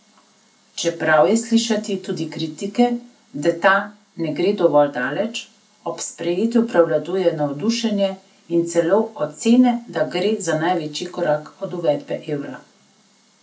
Čeprav je slišati tudi kritike, da ta ne gre dovolj daleč, ob sprejetju prevladuje navdušenje in celo ocene, da gre za največji korak od uvedbe evra.